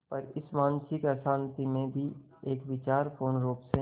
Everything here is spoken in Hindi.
पर इस मानसिक अशांति में भी एक विचार पूर्णरुप से